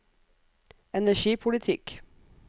energipolitikk